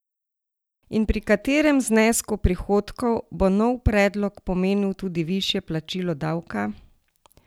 In pri katerem znesku prihodkov bo nov predlog pomenil tudi višje plačilo davka?